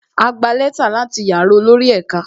A gba lẹ́tà láti yàrá olórí ẹ̀ka